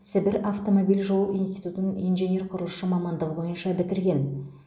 сібір автомобиль жол институтын инженер құрылысшы мамандығы бойынша бітірген